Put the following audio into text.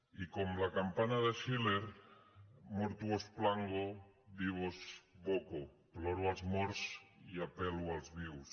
i com la campana de schiller mortuos plango vivos vocoploro els morts i apel·lo als vius